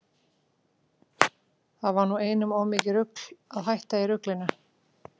Það var nú einum of mikið rugl að hætta í ruglinu.